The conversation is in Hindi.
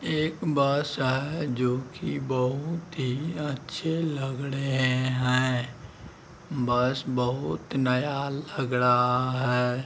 यहां भगवान का पूजा करने आए हैं और यह कोई कोई यहां पे आ--